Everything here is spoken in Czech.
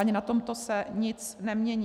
Ani na tomto se nic nemění.